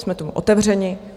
Jsme tomu otevřeni.